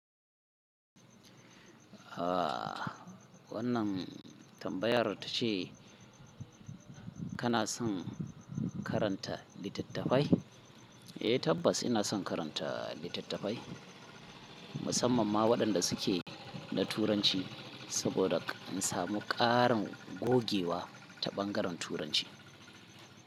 Ah wannan tambayar ta ce kana son karanta littattafai? Eh tabbas ina son karanta littattafai, musamman ma waɗanda suke na turanci saboda in samu ƙarin gogewa ta ɓangaren turanci.